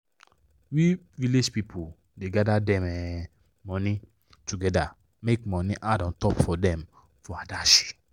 we village pipu da gather dem um money together make money add untop for them for adashi